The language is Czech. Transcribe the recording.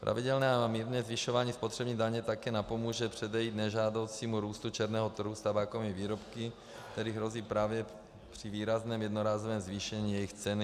Pravidelné a mírné zvyšování spotřební daně také napomůže předejít nežádoucímu růstu černého trhu s tabákovými výrobky, které hrozí právě při výrazném jednorázovém zvýšení jejich ceny.